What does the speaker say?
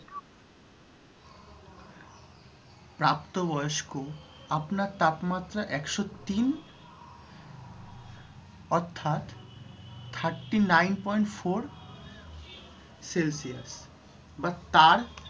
প্রাপ্তবয়স্ক। আপনার তাপমাত্রা একশো তিন অর্থাৎ thirty nine point four celcius বা তার বেশি হলে আপনার স্বাস্থ্যসেবা প্রদানকারীকে কল করুন। জ্বরের সাথে যদি এই লক্ষণ বা উপসর্গগুলির মধ্যে কোনটি থাকে তবে